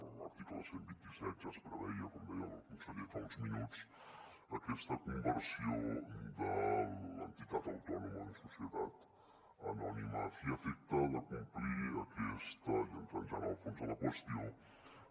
en l’article cent i vint set ja es preveia com deia el conseller fa uns minuts aquesta conversió de l’entitat autònoma en societat anònima a fi i efecte de complir aquesta i entrant ja en el fons de la qüestió